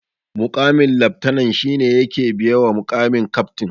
Muƙamin laftanan shi ne yake biye wa muƙamin kaftin